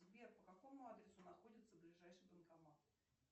сбер по какому адресу находится ближайший банкомат